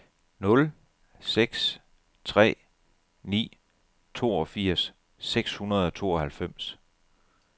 nul seks tre ni toogfirs seks hundrede og tooghalvfems